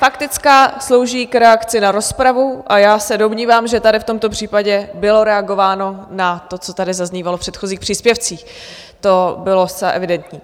Faktická slouží k reakci na rozpravu a já se domnívám, že tady v tomto případě bylo reagováno na to, co tady zaznívalo v předchozích příspěvcích, to bylo zcela evidentní.